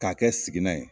K'a kɛ sigilan ye